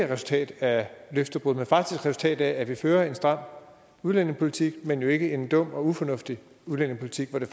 resultat af løftebrud men faktisk et resultat af at vi fører en stram udlændingepolitik men jo ikke en dum og ufornuftig udlændingepolitik hvor det